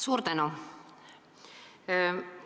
Suur tänu!